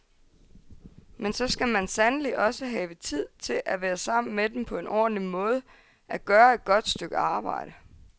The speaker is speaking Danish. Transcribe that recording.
Men så skal man sandelig også have tid til at være sammen med dem på en ordentlig måde, at gøre et godt stykke arbejde.